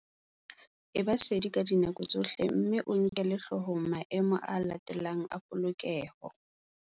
Eba sedi ka dinako tsohle mme o nkele hloohong maemo a latelang a polokeho.